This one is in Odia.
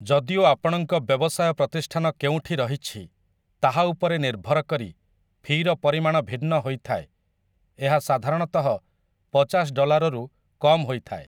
ଯଦିଓ ଆପଣଙ୍କ ବ୍ୟବସାୟ ପ୍ରତିଷ୍ଠାନ କେଉଁଠି ରହିଛି, ତାହା ଉପରେ ନିର୍ଭର କରି ଫି'ର ପରିମାଣ ଭିନ୍ନ ହୋଇଥାଏ, ଏହା ସାଧାରଣତଃ ପଚାଶ ଡଲାରରୁ କମ୍ ହୋଇଥାଏ ।